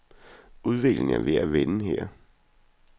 Udviklingen er ved at vende her.